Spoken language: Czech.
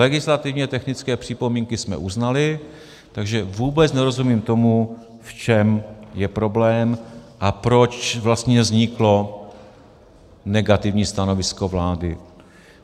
Legislativně technické připomínky jsme uznali, takže vůbec nerozumím tomu, v čem je problém a proč vlastně vzniklo negativní stanovisko vlády.